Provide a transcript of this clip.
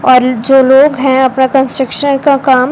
और जो लोग हैं अपना कंस्ट्रक्शन का काम--